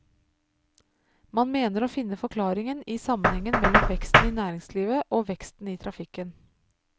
Man mener å finne forklaringen i sammenhengen mellom veksten i næringslivet og veksten i trafikken.